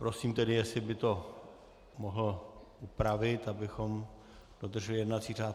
Prosím tedy, jestli by to mohl upravit, abychom dodrželi jednací řád.